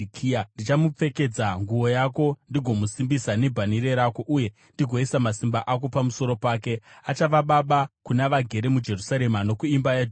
Ndichamupfekedza nguo yako ndigomusimbisa nebhanhire rako uye ndigoisa masimba ako pamusoro pake. Achava baba kuna vagere muJerusarema nokuimba yaJudha.